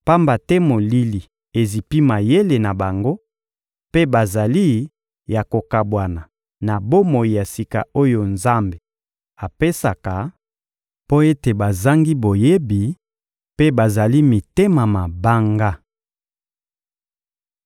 Pamba te molili ezipi mayele na bango mpe bazali ya kokabwana na bomoi ya sika oyo Nzambe apesaka, mpo ete bazangi boyebi mpe bazali mitema mabanga.